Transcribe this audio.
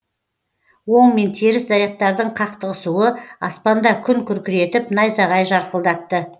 оң мен теріс зарядтардың қақтығысуы аспанда күн күркіретіп найзағай жарқылдатты